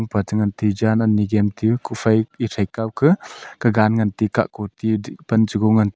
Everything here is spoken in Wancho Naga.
ngan tiu jan ani jemtiu kufhai ethe kawka kagan ngante kahkon tiu thih pan chego ngan.